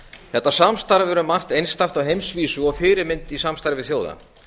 þetta samstarf hefur verið um margt einstakt á heimsvísu og fyrirmynd í samstarfi þjóða